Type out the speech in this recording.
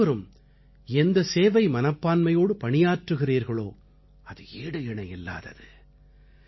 நீங்கள் அனைவரும் எந்த சேவை மனப்பான்மையோடு பணியாற்றுகிறீர்களோ அது ஈடு இணை இல்லாதது